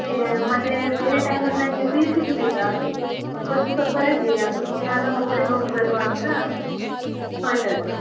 ಕ್ಕೆ ಮತ್ತೆ ಬೇರೆ time ಲ್ಲಿ ನಂಗೆ free ಸಿಗುದಿಲ್ಲ ಅದಿಕ್ಕೆ ಇವತ್ತು ಸ್ವಲ್ಪ ರಜೆ ಅದಿಕ್ಕೆ ನಾನು ಒಬ್ಳೇ ಹೋಗಿ ಬರುವಾ ಅಂತ ಹೊರಟದ್ದು.